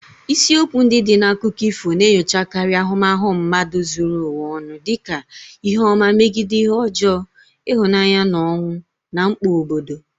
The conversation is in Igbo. Isiokwu ndị dị na akụkọ ifo na-enyochakarị ahụmahụ mmadụ zuru ụwa ọnụ, dị ka ihe ọma megide ihe ọjọọ, ịhụnanya na ọnwụ, na mkpa obodo.